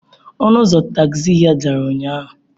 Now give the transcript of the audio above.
Ọnụ ụzọ tagzi ya dara ụnyahụ.